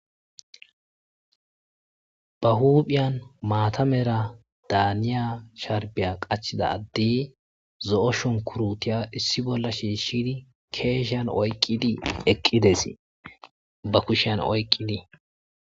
ba huuphiyan maatamera daaniya sharbiya qachida addi zo'o shunkurutiya issi bolla shiishidi keesheyan oyqqidi eqqides ba kushian oyqqidi